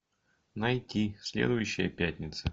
найти следующая пятница